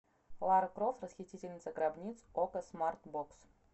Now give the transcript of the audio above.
лара крофт расхитительница гробниц окко смарт бокс